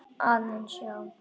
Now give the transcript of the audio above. Aðeins, já.